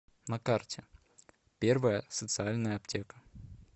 на карте первая социальная аптека